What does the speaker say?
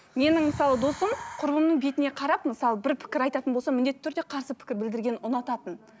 менің мысалы досым құрбымның бетіне қарап мысалы бір пікір айтатын болса міндетті түрде қарсы пікір білдіргенді ұнататын